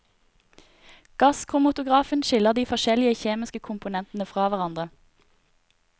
Gasskromotografen skiller de forskjellige kjemiske komponetene fra hverandre.